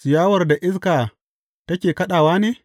Ciyawar da iska take kaɗawa ne?